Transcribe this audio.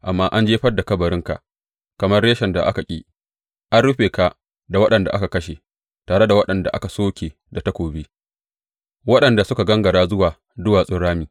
Amma an jefar da kabarinka kamar reshen da aka ƙi; an rufe ka da waɗanda aka kashe, tare da waɗanda aka soke da takobi, waɗanda suka gangara zuwa duwatsun rami.